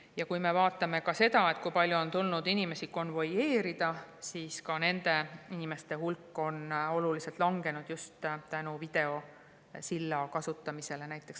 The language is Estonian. Ja kui me vaatame seda, kui palju on tulnud inimesi konvoeerida, siis nende inimeste hulk on oluliselt langenud just tänu videosilla kasutamisele.